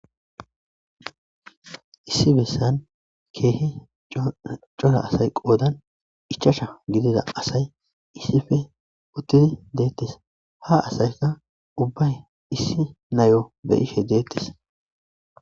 Issi besan kehi Cora asay qodana Ichacha gidida asayi issippe utidi detese ha asayikka gunfane issi nayo be'ashe detese